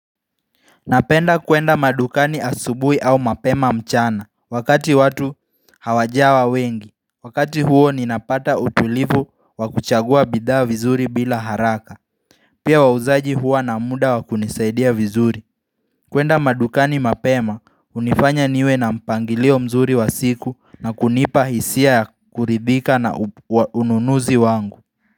Napenda kwenda madukani asubuhi au mapema mchana Wakati watu hawajawa wengi Wakati huo ninapata utulivu wakuchagua bidhaa vizuri bila haraka Pia wauzaji huwa na muda wakunisaidia vizuri kwenda madukani mapema hunifanya niwe na mpangilio mzuri wa siku na kunipa hisia ya kuridhika na ununuzi wangu.